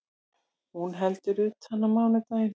Hún heldur utan á mánudaginn